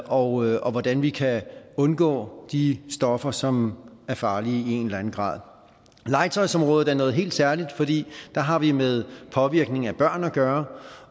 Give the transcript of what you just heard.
og hvordan vi kan undgå de stoffer som er farlige i en eller anden grad legetøjsområdet er noget helt særligt fordi der har vi med påvirkning af børn at gøre